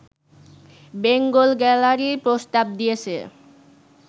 Bengal gallery প্রস্তাব দিয়েছে